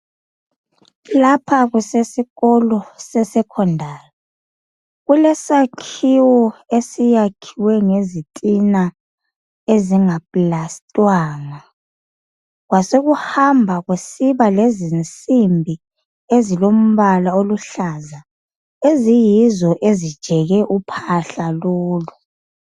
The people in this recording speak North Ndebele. Laphakusesikolo secondary Kuledakhiwo esakhiwe ngezitina ezingaplastwanga kwasokuhamba kusiba lezinsimbi ezilombala oluhlaza eziyizo ezijeke uphahla lolu.